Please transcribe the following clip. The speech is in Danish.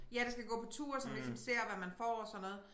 Ja det skal gå på tur så man ligesom ser hvad man får og sådan noget